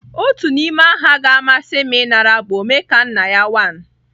Otu n'ime aha ga-amasị m ịnara bụ Omekanna ya one.